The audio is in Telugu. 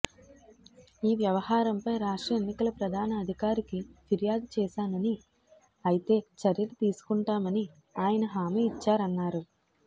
ఈ వ్యవహారంపై రాష్ట్ర ఎన్నికల ప్రధాన అధికారికి ఫిర్యాదు చేశానని అయితే చర్యలు తీసుకుంటామని ఆయన హామీ ఇచ్చారన్నారు